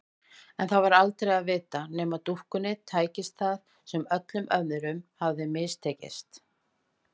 En það var aldrei að vita nema dúkkunni tækist það sem öllum öðrum hafði mistekist.